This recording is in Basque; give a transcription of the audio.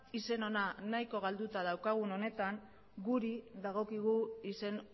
izen ona nahiko galduta daukagun honetan guri dagokigu izen